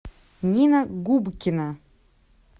нина губкина